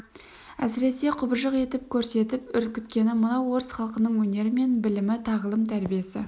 әсіресе құбыжық етіп көрсетіп үркіткені мынау орыс халқының өнері мен білімі тағылым-тәрбиесі